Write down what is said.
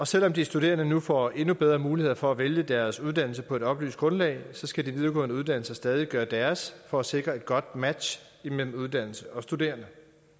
selv om de studerende nu får endnu bedre muligheder for at vælge deres uddannelse på et oplyst grundlag skal de videregående uddannelser stadig væk gøre deres for at sikre et godt match mellem uddannelse og studerende